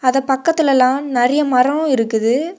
அத பக்கத்துல எல்லாம் றெறைய மரம் இருக்குது.